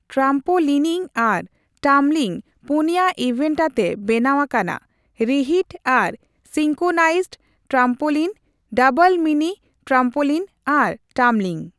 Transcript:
Trampolining ᱟᱨ tumbling ᱯᱩᱱᱭᱟ event ᱟᱛᱮ ᱵᱮᱱᱟᱣ ᱟᱠᱟᱱᱟ, ᱨᱤᱦᱤᱴ ᱟᱨ ᱥᱤᱝᱠᱳᱱᱟᱭᱤᱡᱰ ᱴᱨᱟᱢᱯᱳᱞᱤᱱ, ᱰᱟᱵᱚᱞ ᱢᱤᱱᱤᱼᱴᱨᱟᱢᱯᱳᱞᱤᱱ ᱟᱨ ᱴᱟᱢᱵᱞᱤᱝ ᱾